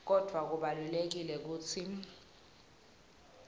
kodvwa kubalulekile kutsi